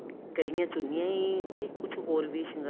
ਕੱਲੀਆਂ ਚੁੰਨੀਆਂ ਹੀ ਕੇ ਕੁੱਝ ਹੋਰ ਵੀ ਸ਼ਿੰਗਾਰ